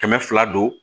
Kɛmɛ fila don